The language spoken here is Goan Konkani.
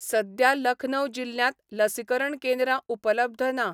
सद्या लखनऊ जिल्ल्यांत लसीकरण केंद्रां उपलब्ध ना.